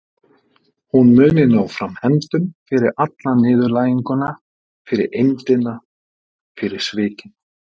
Hún muni ná fram hefndum fyrir alla niðurlæginguna, fyrir eymdina, fyrir svikin.